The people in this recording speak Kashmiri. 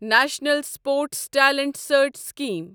national Sports Talent Search scheme